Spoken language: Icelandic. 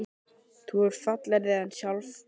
Þú ert fallegri en sjálft sólsetrið.